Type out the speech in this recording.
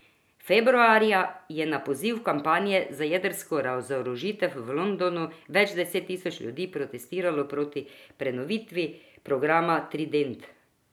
Februarja je na poziv kampanje za jedrsko razorožitev v Londonu več deset tisoč ljudi protestiralo proti prenovitvi programa trident.